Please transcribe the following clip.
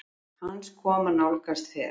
hans koma nálgast fer